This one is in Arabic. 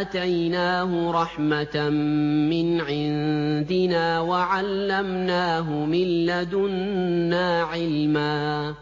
آتَيْنَاهُ رَحْمَةً مِّنْ عِندِنَا وَعَلَّمْنَاهُ مِن لَّدُنَّا عِلْمًا